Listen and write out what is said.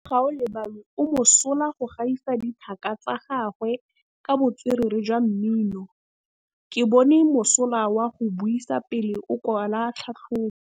Gaolebalwe o mosola go gaisa dithaka tsa gagwe ka botswerere jwa mmino. Ke bone mosola wa go buisa pele o kwala tlhatlhobô.